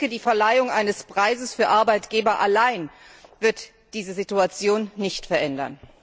Die Verleihung eines Preises für Arbeitgeber allein wird diese Situation nicht verändern.